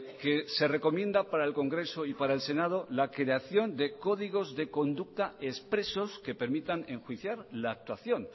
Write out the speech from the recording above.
que se recomienda para el congreso y para el senado la creación de códigos de conducta expresos que permitan enjuiciar la actuación